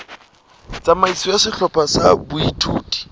tsamaiso ya sehlopha sa boithuto